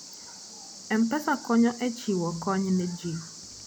M-Pesa konyo e chiwo kony ne ji.